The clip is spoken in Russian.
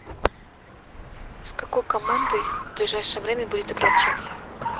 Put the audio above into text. с какой командой в ближайшее время будет играть челси